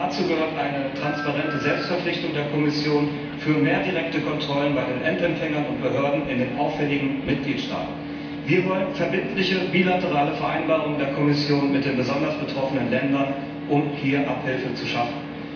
Dazu gehört eine transparente Selbstverpflichtung der Kommission für mehr direkte Kontrollen bei den Endempfängern und Behörden in den auffälligen Mitgliedstaaten. Wir wollen verbindliche bilaterale Vereinbarungen der Kommission mit den besonders betroffenen Ländern, um hier Abhilfe zu schaffen.